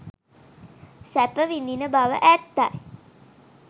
සැප විඳින බව ඇත්තයි.